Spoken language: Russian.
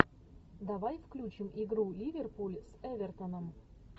давай включим игру ливерпуль с эвертоном